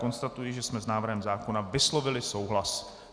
Konstatuji, že jsme s návrhem zákona vyslovili souhlas.